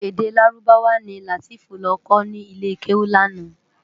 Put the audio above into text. Èdè Lárúbáwá ni Lateef lò kò ni ilé kéwú làná